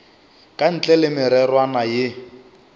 ka ntle le mererwana ye